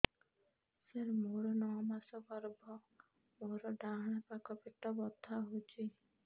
ସାର ମୋର ନଅ ମାସ ଗର୍ଭ ମୋର ଡାହାଣ ପାଖ ପେଟ ବଥା ହେଉଛି